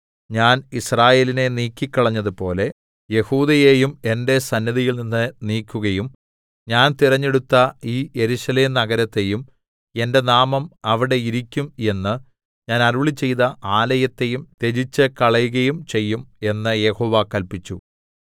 ഞാൻ യിസ്രായേലിനെ നീക്കിക്കളഞ്ഞതുപോലെ യെഹൂദയെയും എന്റെ സന്നിധിയിൽനിന്ന് നീക്കുകയും ഞാൻ തിരഞ്ഞെടുത്ത ഈ യെരൂശലേം നഗരത്തെയും എന്റെ നാമം അവിടെ ഇരിക്കും എന്ന് ഞാൻ അരുളിച്ചെയ്ത ആലയത്തെയും ത്യജിച്ചുകളകയും ചെയ്യും എന്ന് യഹോവ കല്പിച്ചു